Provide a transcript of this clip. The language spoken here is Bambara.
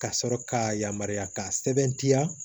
Ka sɔrɔ ka yamaruya k'a sɛbɛntiya